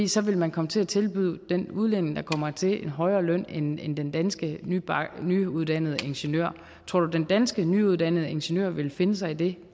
så vil man komme til at tilbyde den udlænding der kommer hertil en højere løn end end den danske nyuddannede ingeniør tror du den danske nyuddannede ingeniør vil finde sig i det